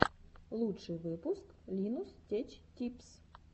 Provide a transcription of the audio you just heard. лучший выпуск линус теч типс